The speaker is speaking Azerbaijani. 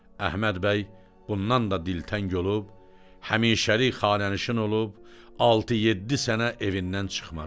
Əhməd bəy bundan da dilxəng olub həmişəlik xanənişin olub, 6-7 sənə evindən çıxmadı.